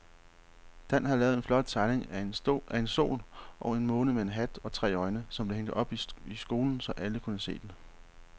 Dan havde lavet en flot tegning af en sol og en måne med hat og tre øjne, som blev hængt op i skolen, så alle kunne se den.